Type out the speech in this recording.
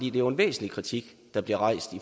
er jo en væsentlig kritik der bliver rejst